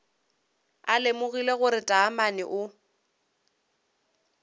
a lemogile gore taamane o